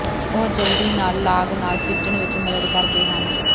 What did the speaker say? ਉਹ ਜਲਦੀ ਨਾਲ ਲਾਗ ਨਾਲ ਸਿੱਝਣ ਵਿੱਚ ਮਦਦ ਕਰਦੇ ਹਨ